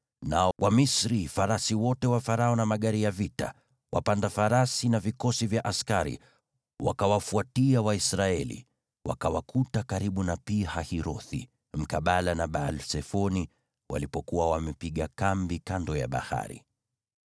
Nao Wamisri, yaani farasi wote wa Farao na magari ya vita, wapanda farasi na vikosi vya askari, wakawafuatia Waisraeli, wakawakuta karibu na Pi-Hahirothi, mkabala na Baal-Sefoni walipokuwa wamepiga kambi kando ya bahari.